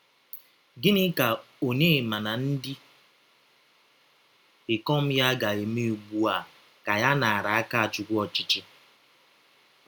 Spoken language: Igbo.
Gịnị ka Ọnyema na ndị ikọm ya ga - eme ụgbụ a Kanye naara Akachụkwụ ọchịchị?